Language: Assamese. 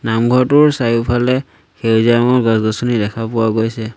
নামঘৰটোৰ চাৰিওফালে সেউজীয়া ৰঙৰ গছ-গছনি দেখা পোৱা গৈছে।